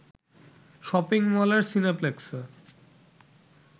shopping মলের সিনেপ্লেক্সে